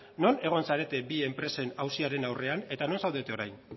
non egon zarete bi enpresen auziaren aurrean eta non zaudete orain